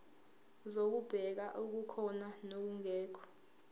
zokubheka okukhona nokungekho